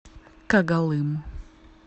когалым